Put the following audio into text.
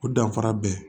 O danfara bɛ